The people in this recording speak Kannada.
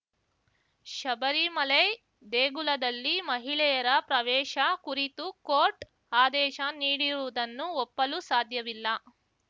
ಶಬರಿಮಲೈ ದೇಗುಲದಲ್ಲಿ ಮಹಿಳೆಯರ ಪ್ರವೇಶ ಕುರಿತು ಕೋರ್ಟ್‌ ಆದೇಶ ನೀಡಿರುವುದನ್ನು ಒಪ್ಪಲು ಸಾಧ್ಯವಿಲ್ಲ